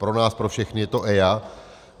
Pro nás pro všechny je to EIA.